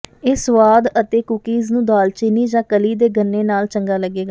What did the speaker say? ਇਹ ਸੁਆਦ ਅਤੇ ਕੂਕੀਜ਼ ਨੂੰ ਦਾਲਚੀਨੀ ਜਾਂ ਕਲੀ ਦੇ ਗੰਨੇ ਨਾਲ ਚੰਗੇ ਲੱਗੇਗਾ